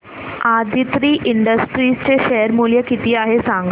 Aditri industries चे share मूल्य किती आहे सांगा